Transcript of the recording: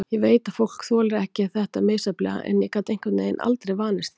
Ég veit að fólk þolir þetta misjafnlega en ég gat einhvern veginn aldrei vanist því.